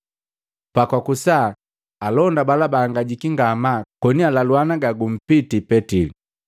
Pakwakusa, alonda bala bahangajiki ngamaa koni alaluana gagumpiti Petili.